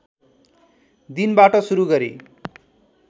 दिनबाट सुरु गरी